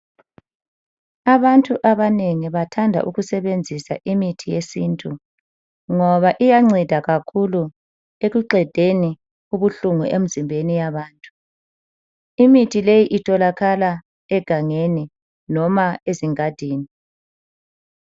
Abantu abanengi bathanda ukusebenzisa imithi yesintu. Ngoba iyanceda kakhulu ekuqedeni ubuhlungu emzimbeni yabantu. Imithi leyi itholakala egangeni noma ezingadini.